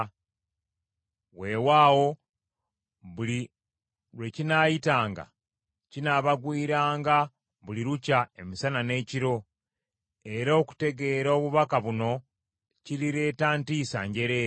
Weewaawo buli lwe kinaayitanga, kinaabagwiranga buli lukya emisana n’ekiro.” Era okutegeera obubaka buno kirireeta ntiisa njereere.